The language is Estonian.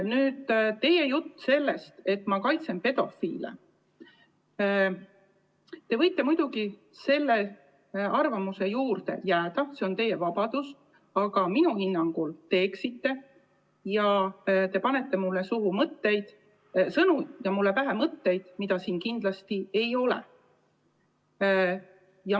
Nüüd, teie jutt sellest, et ma kaitsen pedofiile – te võite muidugi selle arvamuse juurde jääda, see on teie vabadus, aga minu hinnangul te eksite ja panete mulle suhu sõnu ja pähe mõtteid, mida mul kindlasti ei ole.